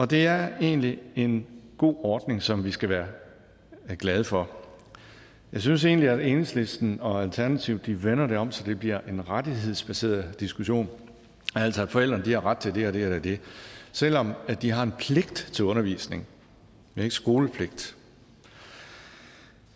det er egentlig en god ordning som vi skal være glade for jeg synes egentlig at enhedslisten og alternativet vender det om så det bliver en rettighedsbaseret diskussion altså at forældrene har ret til det og det eller det selv om de har en pligt til undervisning men ikke skolepligt